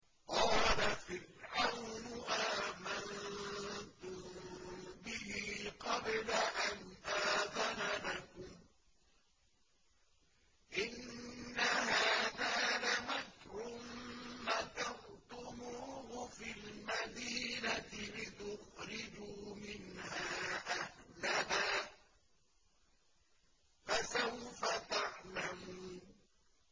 قَالَ فِرْعَوْنُ آمَنتُم بِهِ قَبْلَ أَنْ آذَنَ لَكُمْ ۖ إِنَّ هَٰذَا لَمَكْرٌ مَّكَرْتُمُوهُ فِي الْمَدِينَةِ لِتُخْرِجُوا مِنْهَا أَهْلَهَا ۖ فَسَوْفَ تَعْلَمُونَ